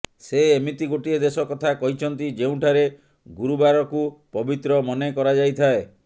ସେ ଏମିତି ଗୋଟିଏ ଦେଶ କଥା କହିଛନ୍ତି ଯେଉଁଠାରେ ଗୁରୁବାରକୁ ପବିତ୍ର ମନେ କରାଯାଇଥାଏ